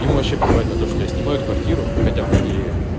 ему вообще плевать на то что я снимают квартиру хотя по идее